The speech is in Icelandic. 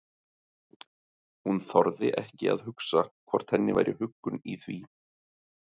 Hún þorði ekki að hugsa hvort henni væri huggun í því.